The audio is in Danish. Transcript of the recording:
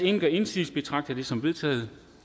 ingen gør indsigelse betragter jeg det som vedtaget